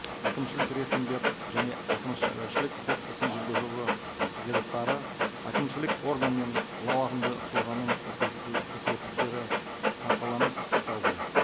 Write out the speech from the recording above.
әкімшілік және сот ісін жүргізуге қағидаттары әкімшілік орган мен лауазымды тұлғаның өкілеттіктері нақтыланып пысықталды